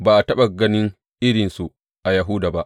Ba a taɓa gani irinsu a Yahuda ba.